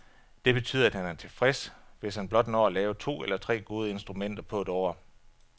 Det betyder, at han er tilfreds, hvis han blot når at lave to eller tre gode instrumenter på et år.